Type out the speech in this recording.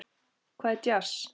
Hvað er djass?